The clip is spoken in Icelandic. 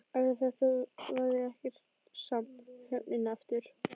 Eftir þetta varð ekkert samt við höfnina aftur.